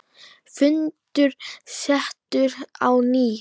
Fundur settur á ný.